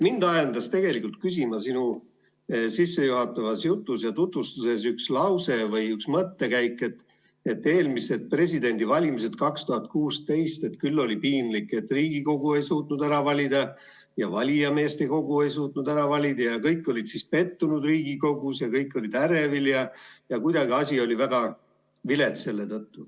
Mind ajendas küsima üks sinu sissejuhatavas tutvustuses olnud lause või mõttekäik, mille kohaselt eelmistel, 2016. aasta presidendivalimistel oli piinlik, et Riigikogu ei suutnud presidenti ära valida ja valijameeste kogu ei suutnud ära valida ja kõik olid Riigikogus pettunud ja kõik olid ärevil ja asi oli selle tõttu kuidagi väga vilets.